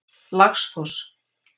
Laxfoss